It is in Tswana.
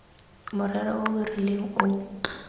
morero o o rileng o